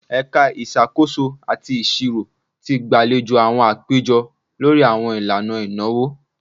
Ẹka Isakoso ati Iṣiro ti gbalejo awọn apejọ lori awọn ilana inawo